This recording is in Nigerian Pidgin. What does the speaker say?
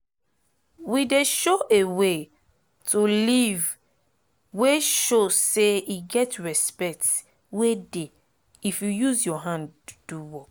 we dey show a way to live wey show say e get respect wey dey if u use ur hand do work.